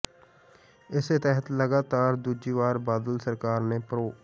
ਇਸੇ ਤਹਿਤ ਲਗਾਤਾਰ ਦੂਜੀ ਵਾਰ ਬਾਦਲ ਸਰਕਾਰ ਨੇ ਪ੍ਰੋ